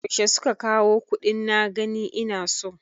Yaushe suka kawo kuɗin na gani ina so?